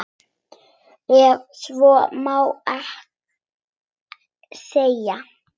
Ef svo má segja.